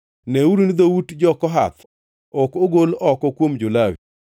“Neuru ni dhout jo-Kohath ok ogol oko kuom jo-Lawi,